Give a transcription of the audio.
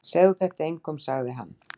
Segðu þetta engum sagði hann.